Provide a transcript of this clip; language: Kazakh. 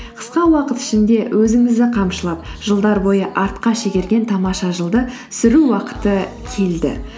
қысқа уақыт ішінде өзіңізді қамшылап жылдар бойы артқа шегерген тамаша жылды сүру уақыты келді